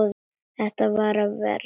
Þetta varð verra og verra.